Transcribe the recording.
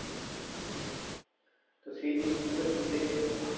তো সেই জিনিসগুলো একটু দেখে নিতে হবে